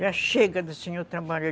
Já chega do senhor trabalhar.